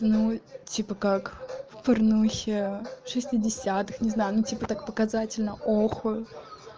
ну типа как в парнухе в шестидесятых не знаю ну типа так показательно охают